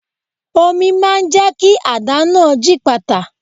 Omi máa jẹ́ kí àdá náà gípatà.